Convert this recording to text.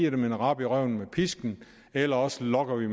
rap i røven med pisken eller også lokker vi